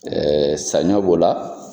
saɲɔ b'o la.